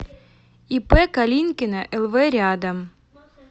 ип калинкина лв рядом